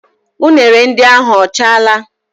Unere ndị ahụ ọ chaala?